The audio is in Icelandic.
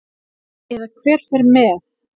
Eða hver fer með.